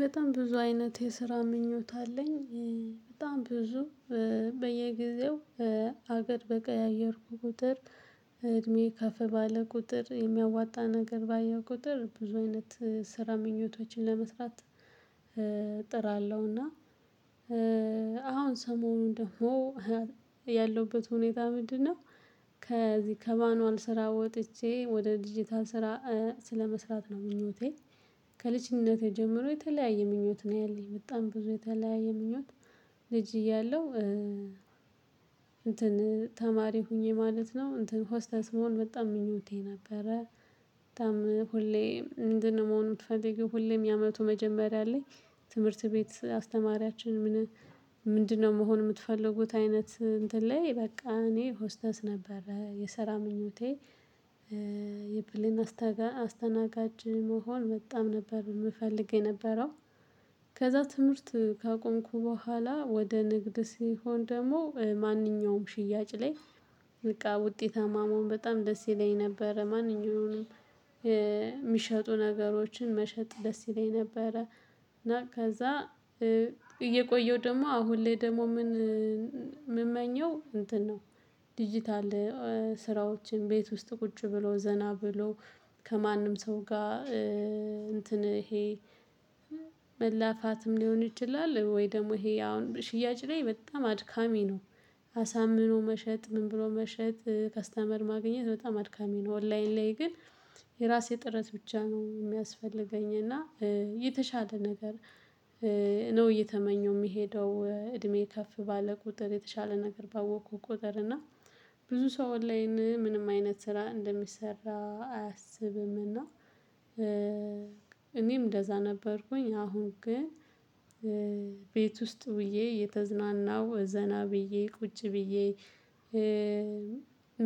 በጣም ብዙ አይነት የስራ ምኞት አለኝ። በጣም ብዙ በየጊዜው አገር በቀያየርኩ ቁጥር። እድሜ ከፍ ባለ ቁጥር የሚያዋጣ ነገር ባየሁ ቁጥር ብዙ አይነት ስራ ምኞቶችን ለመስራት። ጥራለሁና። አሁን ሰሞኑን ደግሞ ያለውበት ሁኔታ ምንድነው? ከዚህ ከማኑዋል ስራ ወጥቼ ወደ ዲጂታል ስራ ስለመስራት ነው ምኞቴ። ከልጅነቴ ጀምሮ የተለያየ ምኞት ነው ያለኝ በጣም ብዙ የተለያየ ምኞት። ልጅ እያለሁ። እንትን ተማሪ ሆኜ ማለት ነው እንትን ሆስታስ መሆን በጣም ምኞቴ ነበረ። በጣም ሁሌ ምንድነው? መሆን የምትፈልጊው ሁሌም የአመቱ መጀመሪያ ላይ። ትምህርት ቤት አስተማሪያችን ምን? ምንድነው መሆን የምትፈልጉት አይነት እንትን ላይ በቃ እኔ ሆስተስ ነበር የሰራ ምኞቴ። የመስተጋ አስተናጋጅ መሆን በጣም ነበር የምፈልገው የነበረው። ከዛ ትምህርት ካቆምኩ በኋላ ወደ ንግድ ሲሆን ደግሞ ማንኛውም ሽያጭ ላይ። በቃ ውጤታማ መሆን በጣም ደስ ይለኝ ነበረ ማንኛውንም። የሚሸጡ ነገሮችን መሸጥ ደስ ይለኝ ነበረ። እና ከዛ እየቆየሁ ደግሞ አሁን ላይ ደግሞ ምን? ምመኘው እንትን ነው። ዲጂታል ስራዎችን ቤት ውስጥ ቁጭ ብሎ ዘና ብሎ። ከማንም ሰው ጋር። እንትን ይሄ መላፋትም ሊሆን ይችላል? ወይ ደግሞ ይሄ አሁን ሽያጭ ላይ በጣም አድካሚ ነው። አሳምኖ መሸጥ ምን ብሎ መሸጥ ከስተመር ማግኘት በጣም አድካሚ ነው ኦንላይን ላይ ግን። የራሴ ጥረት ብቻ ነው የሚያስፈልገኝ እና የተሻለ ነገር። ነው እየተመኘው የሚሄደው እድሜ ከፍ ባለ ቁጥር የተሻለ ነገር ባወቅኩ ቁጥር እና ብዙ ሰው እንላይን ምንም አይነት ስራ እንደሚሰራ አያስብምና። እኔም እንደዛ ነበርኩኝ አሁን ግን። ቤት ውስጥ ውዬ የተዝናናው ዘና ብዬ ቁጭ ብዬ።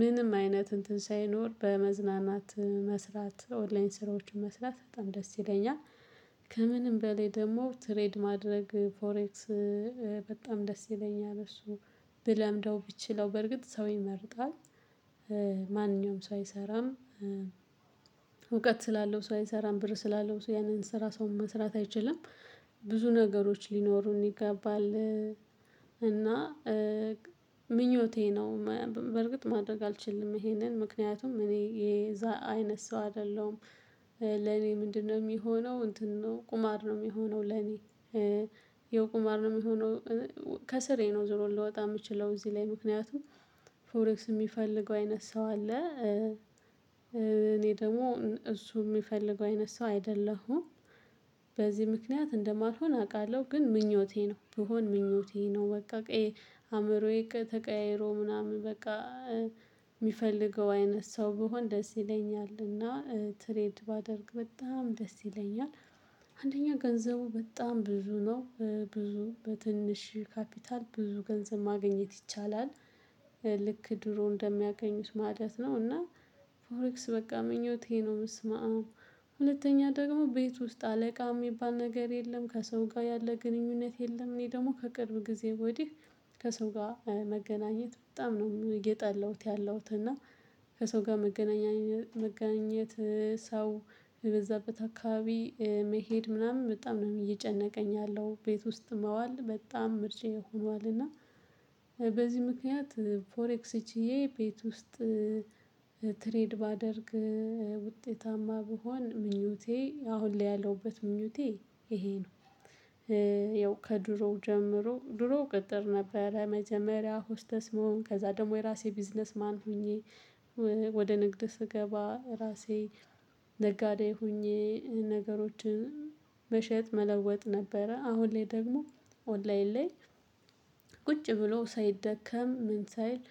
ምንም አይነት እንትን ሳይኖር በመዝናናት መስራት ኦንላይን ስራዎችን መስራት በጣም ደስ ይለኛል። ከምንም በላይ ደግሞ ትሬድ ማድረግ ፎሬክስ። በጣም ደስ ይለኛል እሱ ብለምደው ብችለው በርግጥ ሰው ይመርጣል። ማንም ሰው አይሰራም። እውቀት ስላለው ሰው አይሰራም ብር ስላለው ሰው ያንን ስራ ሰው መስራት አይችልም። ብዙ ነገሮች ሊኖሩን ይገባል። እና ምኞቴ ነው። በርግጥ ማድረግ አልችልም ይሄንን ምክንያቱም እኔ የዛ አይነት ሰው አይደለሁም። ለኔ ምንድነው የሚሆነው እንትን ነው ቁማር ነው የሚሆነው ለኔ። የቁማር ነው የሚሆነው ስል። ከስራየም ነው ዞሮ ልወጣ የምችለው እዚህ ላይ ምክንያቱም። ፎሬክስ የሚፈልገው አይነት ሰው አለ። እኔ ደግሞ እሱ የሚፈልገው አይነት ሰው አይደለሁም። በዚህ ምክንያት እንደማልሆን አውቃለሁ ግን ምኞቴ ነው ብሆን ምኞቴ ነው። በቃ ቄ አእምሮዬ ተቀያይሮ ምናምን በቃ። የሚፈልገው አይነት ሰው ብሆን ደስ ይለኛልና ትሬድ ባደርግ በጣም ደስ ይለኛል። አንደኛው ገንዘቡ በጣም ብዙ ነው ብዙ በትንሽ ካፒታል ብዙ ገንዘብ ማግኘት ይቻላል። ልክ ድሮ እንደሚያገኙት ማለት ነው እና። ፎሬክስ በቃ ምኞቴ ነው በስማዓም። ሁለተኛ ደግሞ ቤት ውስጥ አለቃ የሚባል ነገር የለም ከሰው ጋር ያለ ግንኙነት የለም። እኔ ደግሞ ከቅርብ ጊዜ ወዲህ። ከሰው ጋር መገናኘት በጣም ነው የጠላሁት ያለሁት እና። ከሰው ጋር መገናኘት መገናኘት ሰው የበዛበት አካባቢ መሄድ ምናምን በጣም ነው እየጨነቀኝ ያለው ቤት ውስጥ መዋል በጣም ምርጫየ ሆኗል። እና በዚህ ምክንያት ፎሬክስ ቺዬ ቤት ውስጥ። ትሬድ ባደርግ። ውጤታማ ብሆን ምኞቴ አሁን ላይ ያለውበት ምኞቴ ይሄ ነው። ያው ከድሮው ጀምሮ ድሮ ቅጥር ነበረ መጀመሪያ ሆስተስ መሆን ከዛ ደግሞ የራሴ ቢዝነስ ማን ሆኜ። ወደ ንግድ ስገባ ራሴ ነጋዴ ሆኜ ነገሮችን መሸጥ መለወጥ ነበረ አሁን ላይ ደግሞ ኦንላይን ላይ። ቁጭ ብሎ ሳይደከም ምን ሳይል።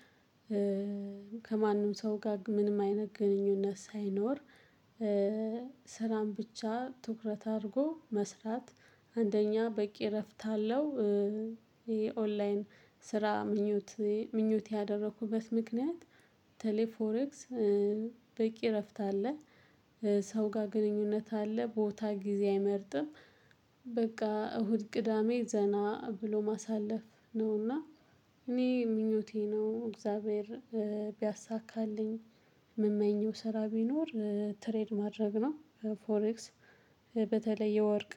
ከማንም ሰው ጋር ምንም አይነት ግንኙነት ሳይኖር። ስራን ብቻ ትኩረት አድርጎ መስራት። አንደኛ በቂ እረፍት አለው። ይሄ ኦንላይን ስራ ምኞቴ ምኞት ያደረኩበት ምክንያት። በተለይ ፎሬክስ። በቂ እረፍት አለ። ሰው ጋር ግንኙነት አለ ቦታ ጊዜ አይመርጥም። በቃ እሁድ ቅዳሜ ዘና ብሎ ማሳለፍ ነውና። እኔ ምኞቴ ነው እግዚአብሔር ቢያሳካልኝ። የምመኘው ስራ ቢኖር ትሬድ ማድረግ ነው። ፎሬክስ በተለይ የወርቅ